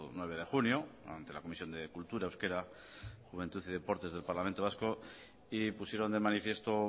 nueve de junio ante la comisión de cultura euskera juventud y deportes del parlamento vasco y pusieron de manifiesto